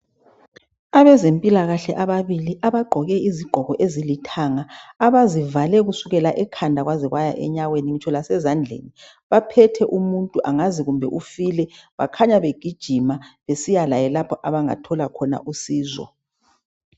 Abezempilakahle ababili abagqoke izigqoko ezilithanga abazivale kusukela ekhanda kwaze kwaya enyaweni ngitsho lasezandleni, baphethe umuntu angazi kumbe ufile bakhanya begijima besiya laye lapho abangathola khona usizo